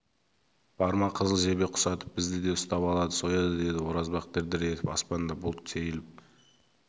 барма қызыл жебе құсатып бізді де ұстап алады сояды деді оразбақ дір-дір етіп аспанда бұлт сейіліп